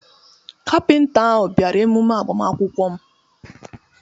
Kaptin ahụ bịara emume agbamakwụkwọ m.